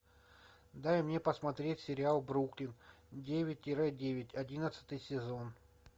дай мне посмотреть сериал бруклин девять тире девять одиннадцатый сезон